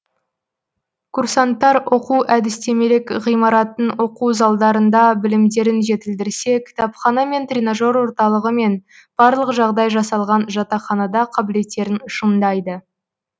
курсанттар оқу әдістемелік ғимараттың оқу залдарында білімдерін жетілдірсе кітапхана мен тренажер орталығы мен барлық жағдай жасалған жатақханада қабілеттерін шыңдайды